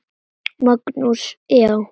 Magnús: Já.